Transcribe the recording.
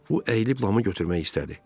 Bu əyilib Lamı götürmək istədi.